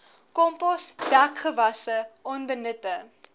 kompos dekgewasse onbenutte